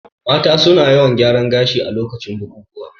Mata su na yawan gyaran gashi a lokutan bukukuwa